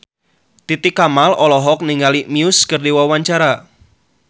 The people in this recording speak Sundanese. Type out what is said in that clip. Titi Kamal olohok ningali Muse keur diwawancara